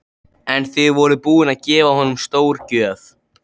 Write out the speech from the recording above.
En þið voruð búin að gefa honum stórgjöf.